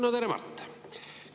No tere, Mart!